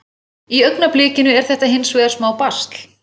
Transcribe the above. Sprengir er stór slétta í túninu í Ögri við Ísafjarðardjúp.